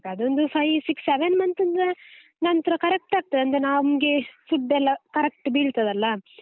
ಅದೊಂದು five six seven month ಇಂದ ನಂತ್ರ correct ಆಗ್ತದೆ ಅಂದ್ರೆ ನಮ್ಗೇ food ಎಲ್ಲಾ correct ಬೀಳ್ತದಲ್ಲ.